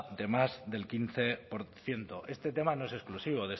de más del quince por ciento este tema no es exclusivo